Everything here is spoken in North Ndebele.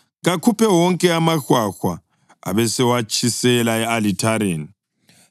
Kakhuphe wonke amahwahwa abesewatshisela e-alithareni,